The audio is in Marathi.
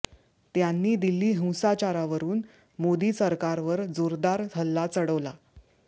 त्यांनी दिल्ली हिंसाचारावरून मोदी सरकारवर जोरदार हल्ला चढवला